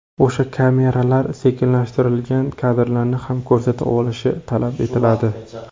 O‘sha kameralar sekinlashtirilgan kadrlarni ham ko‘rsata olishi talab etiladi.